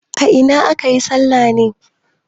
A ina ake yin salla ne?